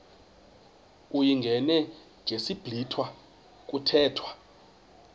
uyingene ngesiblwitha kuthethwa